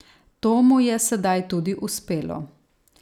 To mu je sedaj tudi uspelo.